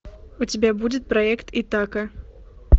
у тебя будет проект итака